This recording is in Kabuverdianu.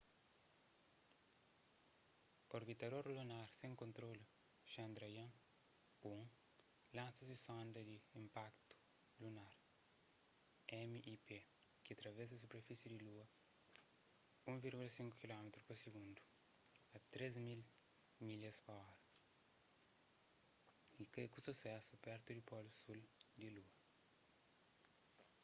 orbitador lunar sen kontrolu chandrayaan-1 lansa se sonda di inpaktu lunar mip ki travesa superfisi di lua 1,5 kilómitru pa sigundu 3.000 milhas pa ora y kai ku susésu pertu di polu sul di lua